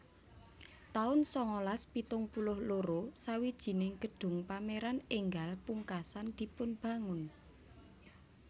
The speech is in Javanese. taun sangalas pitung puluh loro Sawijining gedung pameran enggal pungkasan dipunbangun